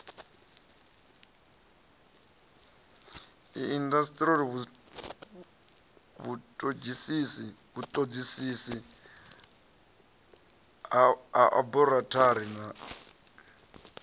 indasiteri vhutodisisi ha aborathari na